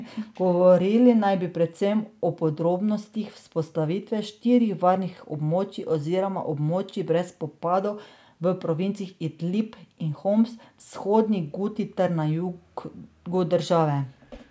Govorili naj bi predvsem o podrobnostih vzpostavitve štirih varnih območij oziroma območij brez spopadov v provincah Idlib in Homs, Vzhodni Guti ter na jugu države.